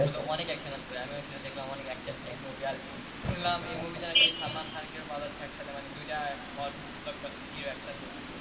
অনেক action আছে ভাই আমিও সেটা দেখলাম অনেক action take movie আর শুনলাম এই মুভিতে নাকি সালমান খান কেউ পাঠাচ্ছে মানে দুইটা blockbuster hero একসাথে,